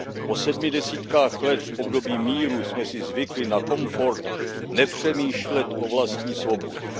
Po sedmi desítkách let v období míru jsme si zvykli na komfort nepřemýšlet o vlastní svobodě.